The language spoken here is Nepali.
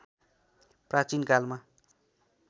प्राचीन कालमा